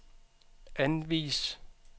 anvis